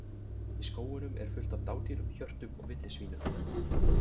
Í skógunum er fullt af dádýrum, hjörtum og villisvínum.